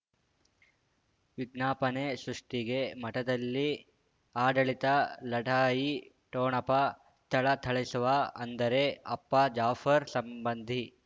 ವಿಜ್ಞಾಪನೆ ಸೃಷ್ಟಿಗೆ ಮಠದಲ್ಲಿ ಆಡಳಿತ ಲಢಾಯಿ ಠೊಣಪ ಥಳಥಳಿಸುವ ಅಂದರೆ ಅಪ್ಪ ಜಾಫರ್ ಸಂಬಂಧಿ